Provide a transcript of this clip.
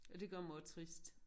Og det gør mig jo trist